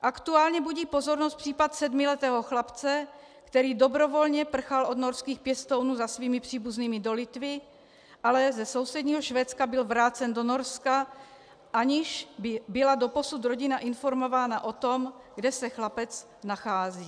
Aktuálně budí pozornost případ sedmiletého chlapce, který dobrovolně prchal od norských pěstounů za svými příbuznými do Litvy, ale ze sousedního Švédska byl vrácen do Norska, aniž by byla doposud rodina informována o tom, kde se chlapec nachází.